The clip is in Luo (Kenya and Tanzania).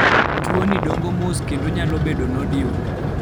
tuo ni dongo mos kendo kendo nyalo bedo nodule